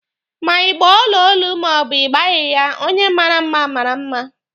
Ma ị gba ọla olu ma ọ bụ ị gbaghi ya, onye mara mma mara mma.